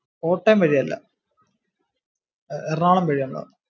കോട്ടയം വഴി അല്ല എറണാകുളം വഴിയാ ഞങ്ങൾ വന്നേ